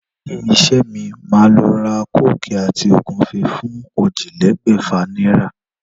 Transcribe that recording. Léyìn isé mi, màá lo ra kóòkì àti ògúnfe fún ójìlélégbèfà náírà